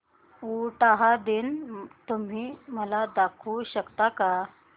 उटाहा दिन तुम्ही मला दाखवू शकता का